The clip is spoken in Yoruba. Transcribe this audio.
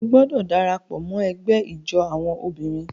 O gbọdọ darapọ̀ mọ ẹgbẹ ijó awọn obìnrin!